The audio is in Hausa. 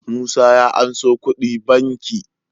Musa ya anso kudi banki